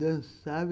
Dançava.